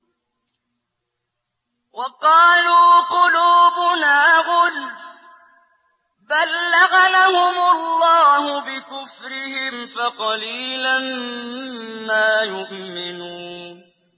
وَقَالُوا قُلُوبُنَا غُلْفٌ ۚ بَل لَّعَنَهُمُ اللَّهُ بِكُفْرِهِمْ فَقَلِيلًا مَّا يُؤْمِنُونَ